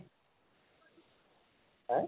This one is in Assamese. হা?